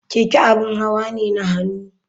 Keke abin hawa ne na hannu.